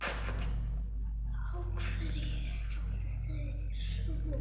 Á hverju áttu þeir von?